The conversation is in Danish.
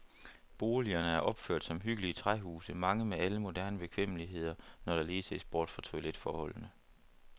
Boligerne er opført som hyggelige træhuse, mange med alle moderne bekvemmeligheder, når der lige ses bort fra toiletforholdene.